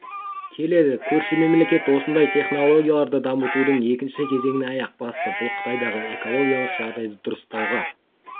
келеді көрші мемлекет осындай технологияларды дамытудың екінші кезеңіне аяқ басты бұл қытайдағы экологиялық жағдайды дұрыстауға